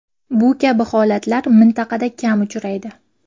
Bu kabi holatlar mintaqada kam uchraydi.